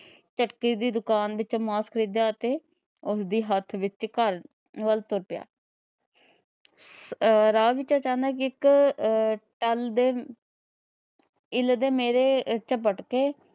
ਝੱਟਕੇ ਦੀ ਦੁਕਾਨ ਵਿੱਚੋ ਮਾਸ ਖਰੀਦਿਆ ਅਤੇ ਉਸ ਦੀ ਹੱਥ ਵਿੱਚ ਘਰ ਵੱਲ ਤੁਰ ਪਿਆ। ਅਹ ਰਾਹ ਵਿੱਚ ਅਚਾਨਕ ਇੱਕ ਅਹ ਟੱਲ ਦੇ ਇੱਲ ਨੇ ਮੇਰੇ